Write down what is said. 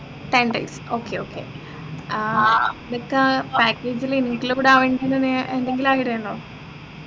ten days okay okay ഏർ നിക്കാ package ലു include ആവേണ്ടുന്ന എന്തെങ്കിലും ആഗ്രഹിണ്ടോ